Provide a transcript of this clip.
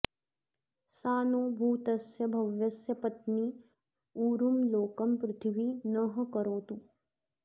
सा नो भूतस्य भव्यस्य पत्नी उरुं लोकं पृथिवी नः करोतु